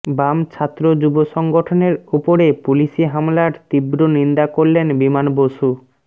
বাম ছাত্র যুব সংগঠনের ওপরে পুলিশী হামলার তীব্র নিন্দা করলেন বিমান বসু